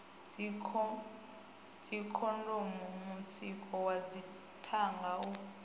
dzikhondomu mutsiko wa dzithanga u